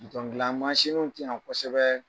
dilan w te yan kosɛbɛɛ.